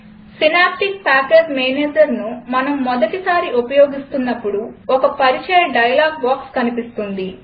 synaptic package managerను మనం మొదటిసారి ఉపయోగిస్తున్నపుడు ఒక పరిచయ డైలాగ్ బాక్స్ కనిపిస్తుంది